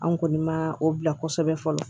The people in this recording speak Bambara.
An kɔni ma o bila kosɛbɛ fɔlɔ